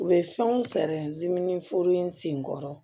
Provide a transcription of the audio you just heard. U bɛ fɛnw fɛɛrɛ ziminiforo in senkɔrɔ